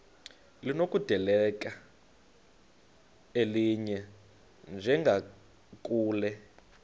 linokudedela elinye njengakule